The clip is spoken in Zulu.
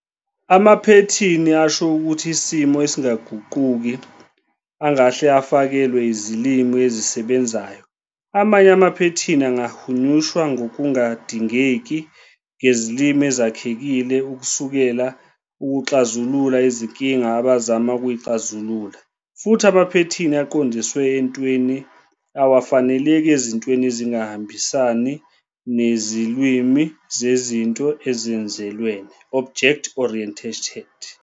Amaphethini asho ukuthi isimo esingaguquki angahle afakelwe izilimi ezisebenzayo, amanye amaphethini angahunyushwa ngokungadingekile ngezilimi ezakhekile ukusekela ukuxazulula inkinga abazama ukuyixazulula, futhi amaphethini aqondiswe entweni awafaneleki ezintweni ezingahambisani nezilwimi zezinto ezenzelwene, Object-oriented,